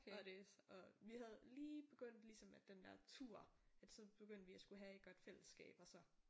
Og det og vi havde lige begyndt ligesom at den der tur at så begyndte vi at skulle have et godt fællesskab og så